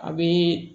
A bɛ